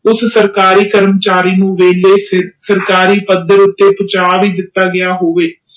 ਉਸ ਸਰਕਸਰੀ ਕਰਮਚਾਰੀ ਨੂੰ ਦੇਖ ਕੇ ਸਰਕਰੀ ਪਾੜੇ ਉਤੇ ਬਚਾ ਹੀ ਕੀਤਾ ਗਿਆ ਹੋਵੇ